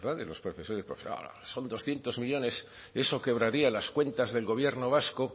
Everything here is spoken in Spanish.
verdad de los profesores y profesoras son doscientos millónes eso quebraría las cuentas del gobierno vasco hombre